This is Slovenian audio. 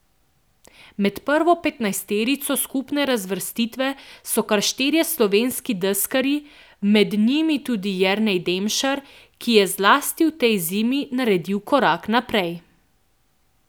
Med prvo petnajsterico skupne razvrstitve so kar štirje slovenski deskarji, med njimi tudi Jernej Demšar, ki je zlasti v tej zimi naredil korak naprej.